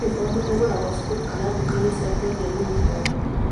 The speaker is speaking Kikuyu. Yunibomu igũragwo cukuru kana nduka-inĩ cia kwendia yunibomu